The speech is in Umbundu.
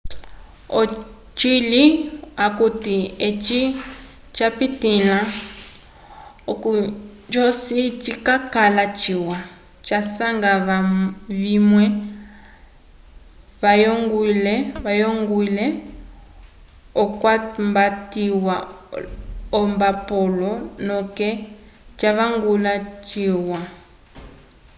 ocili akuti eci twapitĩla oko joci cikakala ciwa twasanga vamwe vayongwile okwambatiwa olmbapolo noke twavangula cyalwa